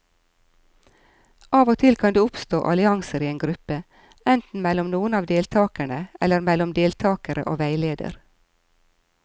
Av og til kan det oppstå allianser i en gruppe, enten mellom noen av deltakerne eller mellom deltakere og veileder.